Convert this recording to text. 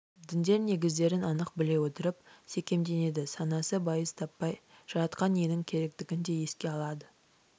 діндер негіздерін анық біле отырып секемденеді санасы байыз таппай жаратқан иенің керектігін де еске алады